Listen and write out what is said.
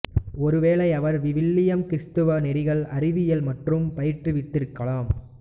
ஒருவேளை அவர் விவிலியம் கிறித்துவ நெறிகள் அறவியல் மட்டும் பயிற்றுவித்திருக்கலாம்